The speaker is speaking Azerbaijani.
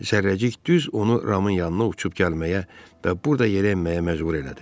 Zərrəcik düz onu Ramın yanına uçub gəlməyə və burda yerənməyə məcbur elədi.